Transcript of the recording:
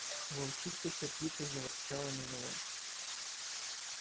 волчица сердито заворчала на него